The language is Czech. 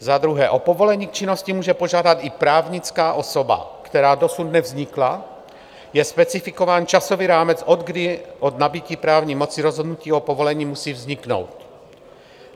Za druhé, o povolení k činnosti může požádat i právnická osoba, která dosud nevznikla, je specifikován časový rámec od kdy od nabytí právní moci rozhodnutí o povolení musí vzniknout.